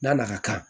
N'a na ka kan